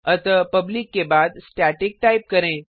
अतः पब्लिक के बाद स्टैटिक टाइप करें